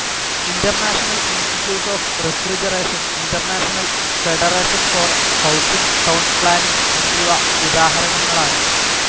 International institute of refrigeration, international federation for housing town planning എന്നിവ ഉദാഹരണങ്ങളാണ്.